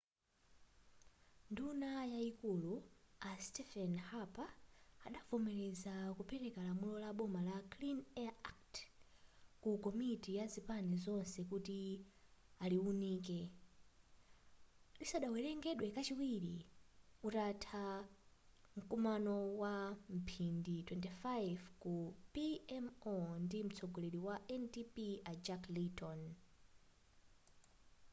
nduna yayikulu a stephen harper adavomeraza kupereka lamulo la boma la clean air act' ku komiti ya zipani zonse kuti aliwunike lisadawerengedwe kachiwiri utatha mkumano wamphindi 25 ku pmo ndi mtsogoleri wa ndp a jack layton